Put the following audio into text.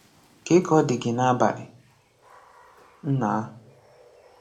Ka Ka ọ dị gị n’abalị, Nna!